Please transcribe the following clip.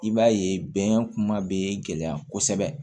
I b'a ye bɛn kuma bɛ gɛlɛya kosɛbɛ